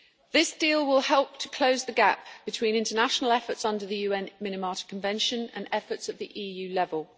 This deal will help to close the gap between international efforts under the UN Minamata Convention and efforts at the EU level.